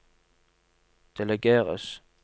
delegeres